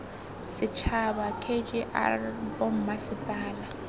setšhaba k g r bommasepala